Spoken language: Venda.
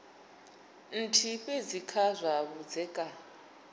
nthihi fhedzi kha zwa vhudzekani